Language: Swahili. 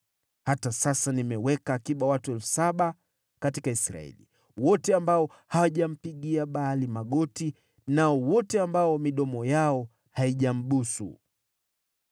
Hata sasa nimeweka akiba watu elfu saba katika Israeli, wote ambao hawajampigia Baali magoti, na wote ambao midomo yao haijambusu.”